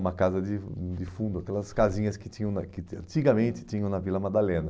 Uma casa de de fundo, aquelas casinhas que tinham na que antigamente tinham na Vila Madalena.